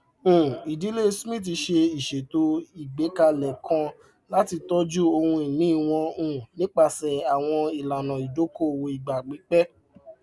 um ìdílé smith ṣe ìṣètò igbẹkẹlé kan láti tọjú ohunìnì wọn um nípasẹ àwọn ìlànà ìdókòwò ìgbà pípẹ